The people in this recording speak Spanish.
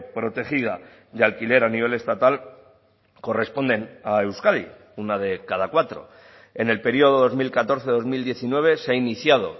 protegida de alquiler a nivel estatal corresponden a euskadi una de cada cuatro en el período dos mil catorce dos mil diecinueve se ha iniciado